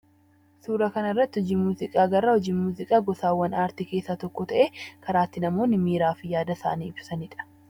Suura kana irratti hojii muuziqaa agarra. Hojiin muuziqaa gosoota aartii keessaa tokko ta'ee, karaa itti namoonni miiraa fi yaada isaanii ibsatanidha.